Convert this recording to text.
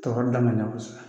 Tɔɔrɔ danganiya kosɛbɛ